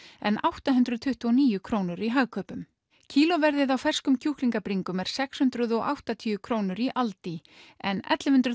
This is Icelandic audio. en átta hundruð tuttugu og níu krónur í Hagkaupum kílóverðið á ferskum kjúklingabringum er sex hundruð og áttatíu krónur í aldi en ellefu hundruð